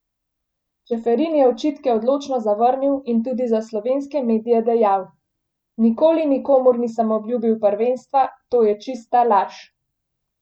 Čeferin je očitke odločno zavrnil in tudi za slovenske medije dejal: "Nikoli nikomur nisem obljubil prvenstva, to je čista laž.